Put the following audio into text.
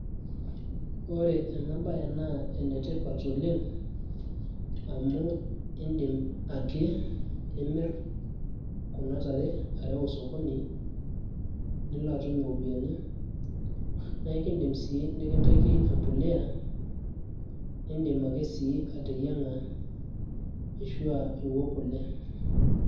Ore ena bae naa enetipat oleng',amu iidim ake nimir kuna tare, areu osokoni nilo atum iropiyiani, na ekiidim si nikintaki empolea, iidim ake sii ateyiang'a, ashua niwok kule.